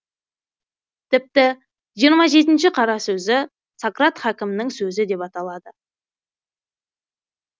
тіпті жиырма жетінші қара сөзі сократ хәкімнің сөзі деп аталады